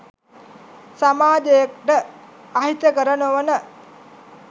සමාජයට අහිතකර නොවන